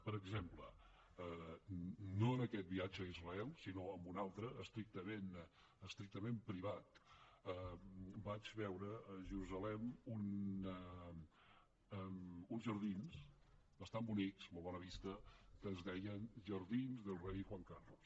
per exemple no en aquest viatge a israel sinó en un altre estrictament privat vaig veure a jerusalem uns jardins bastant bonics molt bona vista que es deien jardins del rei juan carlos